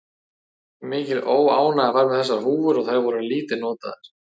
Mikil óánægja var með þessar húfur og þær voru lítið notaðar.